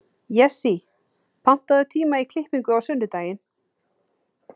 Jessý, pantaðu tíma í klippingu á sunnudaginn.